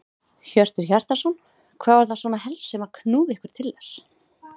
Hjörtur Hjartarson: Hvað var það svona helst sem að knúði ykkur til þess?